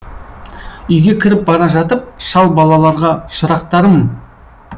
үйге кіріп бара жатып шал балаларға шырақтарым